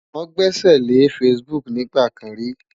Wọn gbẹ́sẹ̀lé Facebook nígbà kan ri.